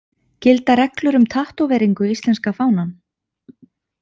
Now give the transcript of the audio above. Gilda reglur um tattóveringu íslenska fánann?